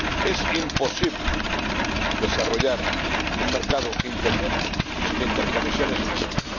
Es imposible desarrollar un mercado interior sin interconexiones físicas.